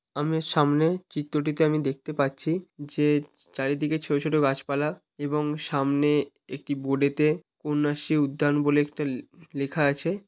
আমি সামনে চিত্রটিতে আমি দেখতে পাচ্ছি যে চারিদিকে ছোট ছোট গাছপালা এবং সামনে একটি বোর্ড -এতে কন্যাশ্রী উদ্যান বলে একটা লে লে-লেখা আছে।